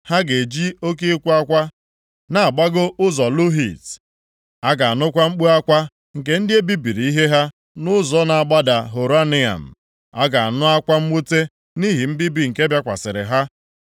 Ha ga-eji oke ịkwa akwa na-agbago ụzọ Luhit; a ga-anụkwa mkpu akwa nke ndị e bibiri ihe ha nʼụzọ na-agbada Horonaim. A ga-anụ akwa mwute nʼihi mbibi nke bịakwasịrị ha.